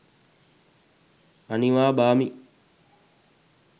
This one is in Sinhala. අනිවා බාමි